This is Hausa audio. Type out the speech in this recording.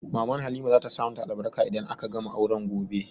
Maman Halima za ta sa ma ta albarka idan aka gama auren gobe